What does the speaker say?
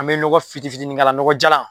An bɛ nɔgɔn fitini fitini k'a la nɔgɔn jalan